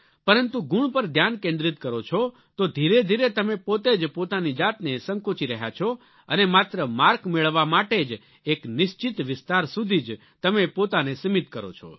પરંતુ ગુણ પર ધ્યાન કેન્દ્રિત કરો છો તો ધીરેધીરે તમે પોતે જ પોતાની જાતને સંકોચી રહ્યા છો અને માત્ર માર્ક મેળવવા માટે જ એક નિશ્ચિત વિસ્તાર સુધી જ તમે પોતાને સીમિત કરો છો